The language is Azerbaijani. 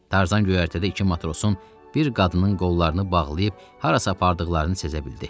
Tarzan göyərtədə iki matrosun bir qadının qollarını bağlayıb harasa apardıqlarını sezə bildi.